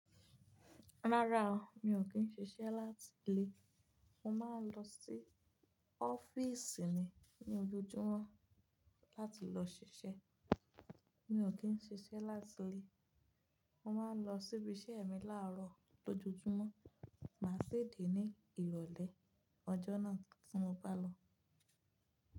Rárá o, mi ò kí n ṣiṣẹ́ láti ilé. Mo máa ń lọ sí ọ́fíìsì ni ní ojojúmọ́ láti lọ ṣiṣẹ́. Mi ò kí n ṣiṣẹ́ láti ilé. Mo máa ń lọ síbi iṣẹ́ mi láàárọ̀ lójoojúmọ́, màá sì dé ní ìrọ̀lẹ́ ọjọ́ náà tí mo bá lọ.